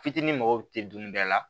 Fitinin mɔgɔw tɛ dumuni da la